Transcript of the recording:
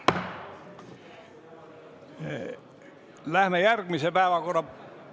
Läheme järgmise päevakorrapunkti ...